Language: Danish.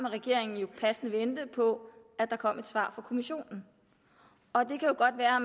regeringen jo passende vente på at der kom et svar fra kommissionen og det kan godt være